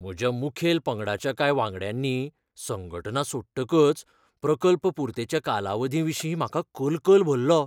म्हज्या मुखेल पंगडाच्या कांय वांगड्यांनी संघटना सोडटकच प्रकल्प पुर्तेच्या कालावधीविशीं म्हाका कलकल भरलो.